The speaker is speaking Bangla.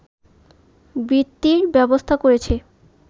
বৃত্তির ব্যবস্থা করেছি